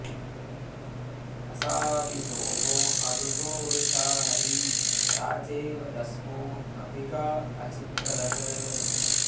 असावि सोमो अरुषो वृषा हरी राजेव दस्मो अभि गा अचिक्रदत्